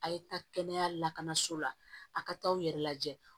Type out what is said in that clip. A' ye taa kɛnɛya lakanaso la a ka taa aw yɛrɛ lajɛ